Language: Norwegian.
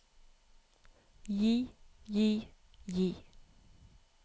gi gi gi